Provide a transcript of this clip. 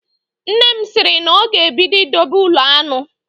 Nne m sịrị na ọ ga-ebido idobe ụlọ aṅụ